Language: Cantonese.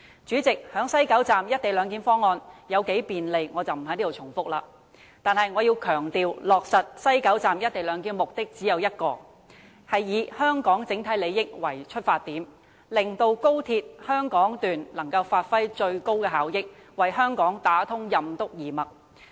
主席，關於西九龍站"一地兩檢"方案有多麼便利，在此我不再重複，但我要強調，落實西九龍站"一地兩檢"方案的目的只有一個，便是以香港整體利益為出發點，令高鐵香港段能發揮最高效益，為香港打通任督二脈。